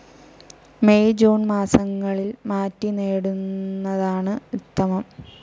May June മാസങ്ങളിൽ മാറ്റി നേടുന്നതാണ് ഉത്തമം.